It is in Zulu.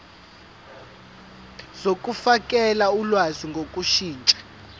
zokufakela ulwazi ngokushintsha